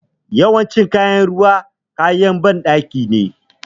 Yawancin kayan gyaran ruwa, kayan banɗaki ne.